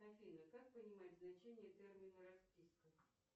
афина как понимать значение термина расписка